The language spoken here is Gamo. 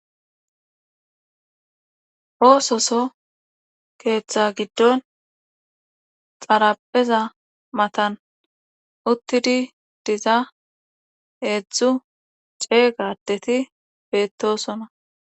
Ooso soho keeththaa giddon xarapheza matan uttidi diza heedzdzu ceega addeti beettoosona.